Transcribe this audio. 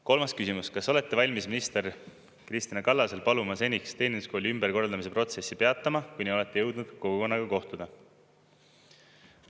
Kolmas küsimus: kas olete valmis minister Kristina Kallasel paluma seniks Teeninduskooli ümberkorraldamise protsessi peatada, kuni olete jõudnud kogukonnaga kohtuda?